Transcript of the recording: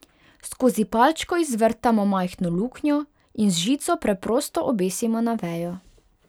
Skozi palčko izvrtamo majhno luknjo in z žico preprosto obesimo na vejo.